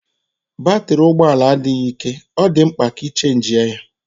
Batrị ụgbọ ala adịghị ike, ọ dị mkpa ka a chajị ya.